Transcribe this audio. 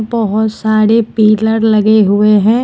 बहोत सारे पिलर लगे हुए हैं।